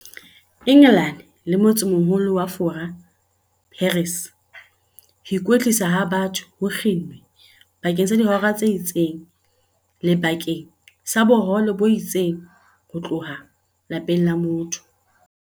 Engelane le motsemoho-lo wa Fora, Paris, ho ikwetlisa ha batho ho kginnwe bakeng sa dihora tse itseng le bakeng sa bohole bo itseng ho tloha lapeng la motho.